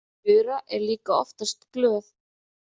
Þura er líka oftast glöð.